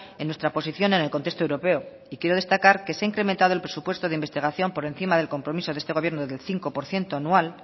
en nuestra posición en el contexto europeo y quiero destacar que se ha incrementado el presupuesto de investigación por encima del compromiso de este gobierno del cinco por ciento anual